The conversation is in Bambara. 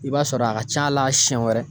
I b'a sɔrɔ a ka ca la siyɛn wɛrɛ